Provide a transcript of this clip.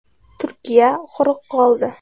Turkiya quruq qoldi.